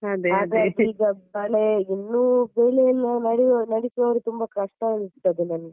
ಈಗ ಇನ್ನು ಬೆಳೆಯನ್ನು ನಡೆಯುವವ~ ನಡೆಸುವವರು ತುಂಬಾ ಕಷ್ಟ ಅನಿಸ್ತದೆ ನನಿಗೆ.